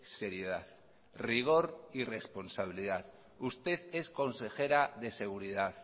seriedad rigor y responsabilidad usted es consejera de seguridad